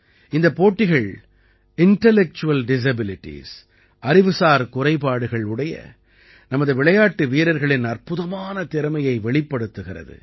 இந்தப் போட்டிகள் intellectual disabilities அறிவுசார் குறைபாடுகள் உடைய நமது விளையாட்டு வீரர்களின் அற்புதமான திறமையை வெளிப்படுத்துகிறது